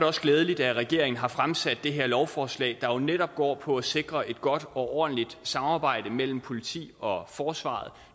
også glædeligt at regeringen har fremsat det her lovforslag der jo netop går på at sikre et godt og ordentligt samarbejde mellem politi og forsvar